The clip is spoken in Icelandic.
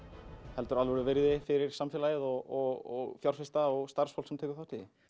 heldur alvöru virði fyrir samfélagið og fjárfesta og starfsfólk sem tekur þátt í því